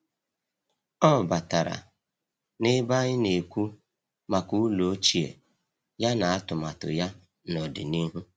Ọ batara n’ebe anyị na-ekwu maka ụlọ ochie ya na atụmatụ ya n’ọdịnihu.